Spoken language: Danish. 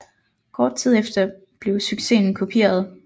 Kort tid efter blev succesen kopieret